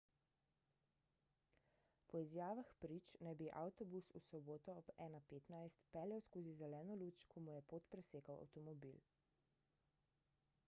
po izjavah prič naj bi avtobus v soboto ob 1.15 peljal skozi zeleno luč ko mu je pot presekal avtomobil